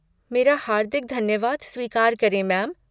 मेरा हार्दिक धन्यवाद स्वीकार करें, मैम!